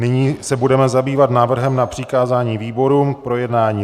Nyní se budeme zabývat návrhem na přikázání výborům k projednání.